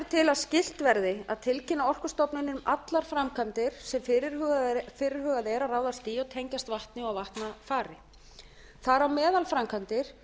til að skylt verði að tilkynna orkustofnun um allar framkvæmdir sem fyrirhugað er að ráðast í og tengjast vatni og vatnafari þar á meðal framkvæmdir